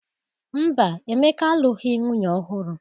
Mba, Emeka alụghị nwunye ọhụrụ.